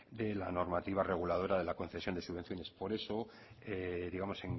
de la normativa reguladora de la concesión de subvenciones por eso digamos